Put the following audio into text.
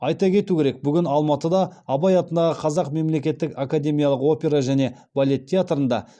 айта кету керек бүгін алматыда абай атындағы қазақ мемлекеттік академиялық опера және балет театрында